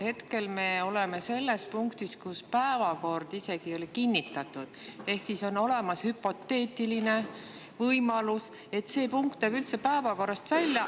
Hetkel me oleme selles punktis, kus päevakord ei ole isegi kinnitatud ehk on olemas hüpoteetiline võimalus, et see punkt jääb üldse päevakorrast välja.